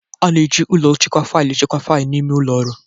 A na-eji ụlọ nchekwa faịlụ echekwa faịlụ n'ime ụlọ ọrụ